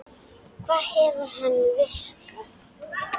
Hvað hefur hann fiskað?